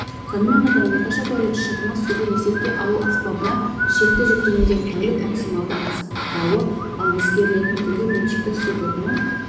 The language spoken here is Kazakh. сонымен қатар орташа тәулік шығыны суды есепке алу аспабына шекті жүктемеден тәулік максималды аспауы ал ескерілетін түнгі меншікті су тұтыну